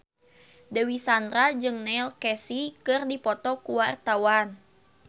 Dewi Sandra jeung Neil Casey keur dipoto ku wartawan